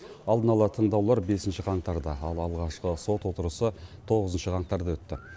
алдын ала тыңдаулар бесінші қаңтарда ал алғашқы сот отырысы тоғызыншы қаңтарда өтті